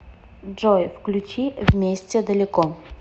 джой включи вместе далеко